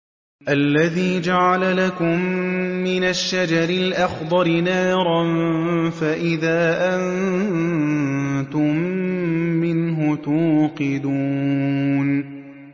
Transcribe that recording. الَّذِي جَعَلَ لَكُم مِّنَ الشَّجَرِ الْأَخْضَرِ نَارًا فَإِذَا أَنتُم مِّنْهُ تُوقِدُونَ